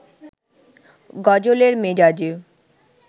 গজলের মেজাজে